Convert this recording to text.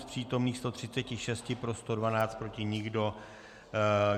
Z přítomných 136 pro 112, proti nikdo.